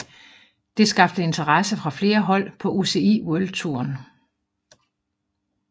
Det skabte interesse fra flere hold på UCI World Touren